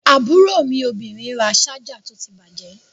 Àbúrò mi obìnrin ra ṣájà tó ti bàjẹ́.